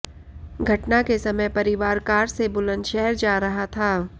घटना के समय परिवार कार से बुलंदशहर जा रहा था